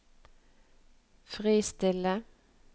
fristille